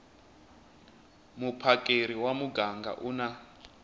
muphakeri wa muganga u na